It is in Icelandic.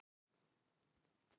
Nú er þínum þrautum lokið.